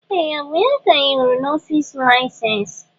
Ee! Ọ bụ ya ka anyị hụrụ n'ọfịs laịsensị?